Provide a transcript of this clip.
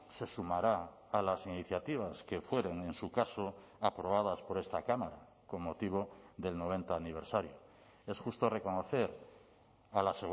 se sumará a las iniciativas que fueron en su caso aprobadas por esta cámara con motivo del noventa aniversario es justo reconocer a la